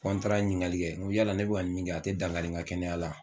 Fo n taara ɲiningali kɛ, n ko yala ne bɛka nin min kɛ a tɛ dangari n ka kɛnɛya la.